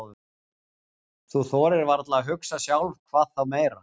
Þú þorir varla að hugsa sjálf, hvað þá meira.